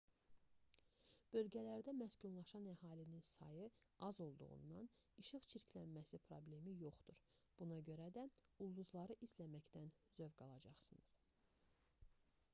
bölgələrdə məskunlaşan əhalinin sayı az olduğundan işıq çirklənməsi problemi yoxdur buna görə də ulduzları izləməkdən zövq alacaqsınız